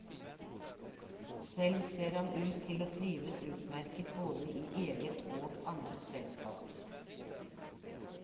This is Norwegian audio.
Selv ser han ut til å trives utmerket både i eget og andres selskap.